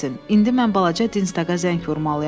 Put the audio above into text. İndi mən balaca dinst daqa zəng vurmalıyam.